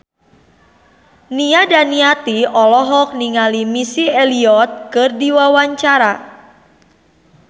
Nia Daniati olohok ningali Missy Elliott keur diwawancara